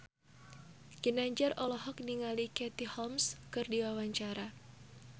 Ginanjar olohok ningali Katie Holmes keur diwawancara